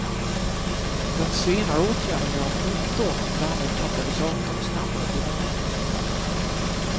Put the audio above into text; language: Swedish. Den senare åtgärden gör att motorn och därmed katalysatorn snabbare blir varma.